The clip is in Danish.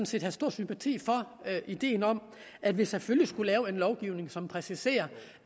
set havde stor sympati for ideen om at vi selvfølgelig skulle lave en lovgivning som præciserer